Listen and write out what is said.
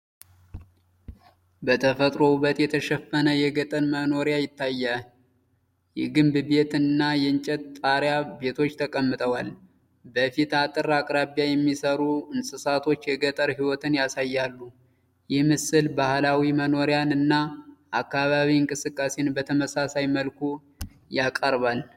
በተፈጥሮ ውበት የተሸፈነ የገጠር መኖሪያ ታይቷል። የግንብ ቤት እና የእንጨት ጣሪያ ቤቶች ተቀምጠዋል። በፊት አጥር አቅራቢያ የሚሰሩ እንስሶች የገጠር ሕይወትን ያሳያሉ። ይህ ምስል የባህላዊ መኖሪያን እና የአካባቢ እንቅስቃሴን በተመሳሳይ መልኩ ያቀርባል።